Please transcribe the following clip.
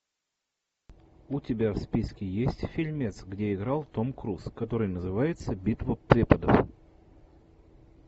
у тебя в списке есть фильмец где играл том круз который называется битва преподов